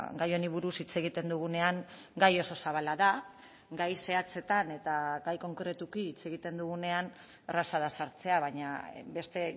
gai honi buruz hitz egiten dugunean gai oso zabala da gai zehatzetan eta gai konkretuki hitz egiten dugunean erraza da sartzea baina beste